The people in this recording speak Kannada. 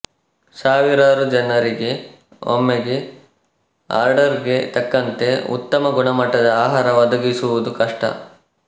ಸಾವಿರಾರು ಜನರಿಗೆ ಒಮ್ಮೆಗೆ ಆರ್ಡರ್ ಗೆ ತಕ್ಕಂತೆ ಉತ್ತಮ ಗುಣಮಟ್ಟದ ಆಹಾರ ಒದಗಿಸಿವುದು ಕಷ್ಟ